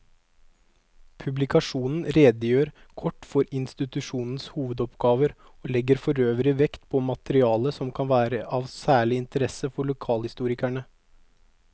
Publikasjonen redegjør kort for institusjonenes hovedoppgaver og legger forøvrig vekt på materiale som kan være av særlig interesse for lokalhistorikere.